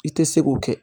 I tɛ se k'o kɛ